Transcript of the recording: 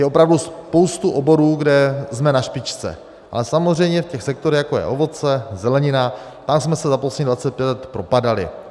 Je opravdu spousta oborů, kde jsme na špičce, ale samozřejmě v těch sektorech, jako je ovoce, zelenina, tam jsme se za posledních 25 let propadali.